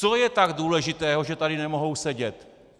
Co je tak důležitého, že tady nemohou sedět?